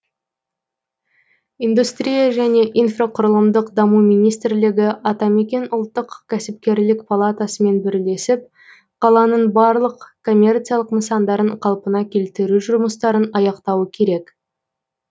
индустрия және инфрақұрылымдық даму министрлігі атамекен ұлттық кәсіпкерлік палатасымен бірлесіп қаланың барлық коммерциялық нысандарын қалпына келтіру жұмыстарын аяқтауы керек